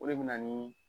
O de bɛ na ni